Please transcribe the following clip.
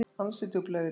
Ansi djúp laug í dag.